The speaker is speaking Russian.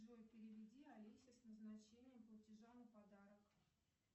джой переведи алисе с назначением платежа на подарок